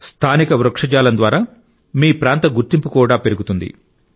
స్థానిక వృక్షజాలం ద్వారా మీ ప్రాంత గుర్తింపు కూడా పెరుగుతుంది